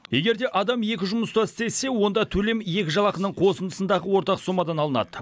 егерде адам екі жұмыста істесе онда төлем екі жалақының қосындысындағы ортақ сомадан алынады